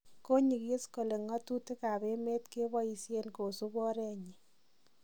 konyigis kole ngatutik ab emet keboisien kosup oret nyin